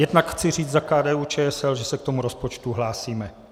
Jednak chci říct za KDU-ČSL, že se k tomu rozpočtu hlásíme.